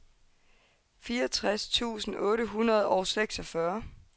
fireogtres tusind otte hundrede og seksogfyrre